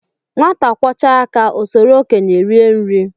Nwata kwọchaa aka o soro okenye rie nri